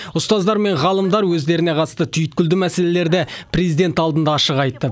ұстаздар мен ғалымдар өздеріне қатысты түйткілді мәселелерді президент алдында ашық айтты